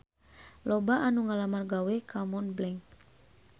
Loba anu ngalamar gawe ka Montblanc